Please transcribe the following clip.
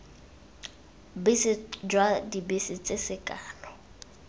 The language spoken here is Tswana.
bese jwa dibese tse sekano